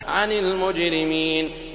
عَنِ الْمُجْرِمِينَ